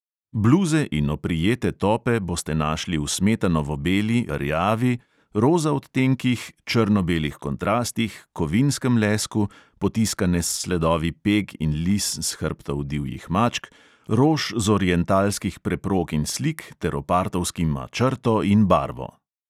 Bluze in oprijete tope boste našli v smetanovo beli, rjavi, roza odtenkih, črno-belih kontrastih, kovinskem lesku, potiskane s sledovi peg in lis s hrbtov divjih mačk, rož z orientalskih preprog in slik, ter opartovskima črto in barvo.